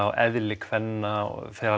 og eðli kvenna og fer